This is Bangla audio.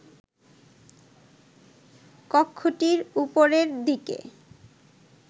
কক্ষটির ওপরের দিকে